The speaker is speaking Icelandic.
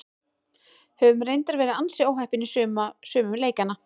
Höfum reyndar verið ansi óheppnir í sumum leikjanna.